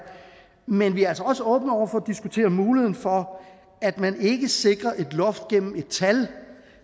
men vi er altså også åbne over for at diskutere muligheden for at man ikke sikrer et loft gennem et tal